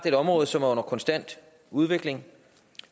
et område som er under konstant udvikling